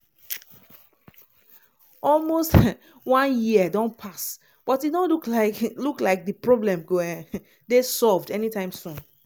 almost um one year don pass but e no look like look like di problem go um dey solved anytime soon.